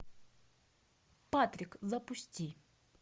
патрик запусти